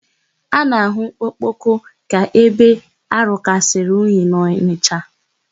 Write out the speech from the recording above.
A na-ahụ Okpoko ka ebe rukarịsịrị unyi n'Ọnịsha.